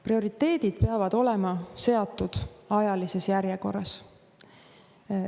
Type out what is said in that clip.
Prioriteedid peavad olema seatud ajalises järjekorras.